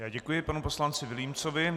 Já děkuji panu poslanci Vilímcovi.